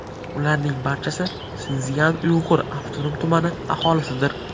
Ularning barchasi Sinszyan-Uyg‘ur avtonom tumani aholisidir.